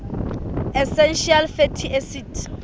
essential fatty acids